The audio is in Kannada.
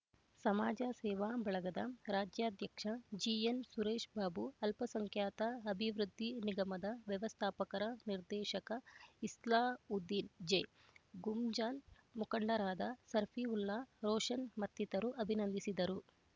ಸಮಾಜ ಸೇವಾ ಬಳಗದ ರಾಜ್ಯಾಧ್ಯಕ್ಷ ಜಿಎನ್ ಸುರೇಶ್ ಬಾಬು ಅಲ್ಪಸಂಖ್ಯಾತ ಅಭಿವೃದ್ಧಿ ನಿಗಮದ ವ್ಯವಸ್ಥಾಪಕರ ನಿರ್ದೇಶಕ ಇಸ್ಲಾವುದ್ದೀನ್ ಜೆ ಗುಂಜಾಲ್ ಮುಖಂಡರಾದ ಸರ್ಫಿವುಲ್ಲಾ ರೋಷನ್ ಮತ್ತಿತರರು ಅಭಿನಂದಿಸಿದರು